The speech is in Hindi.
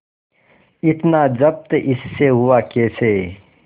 इतना जब्त इससे हुआ कैसे